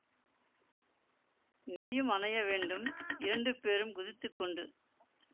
நீயும் அணைய வேண்டும் இரண்டு பேறும் குதித்துக்கொண்டு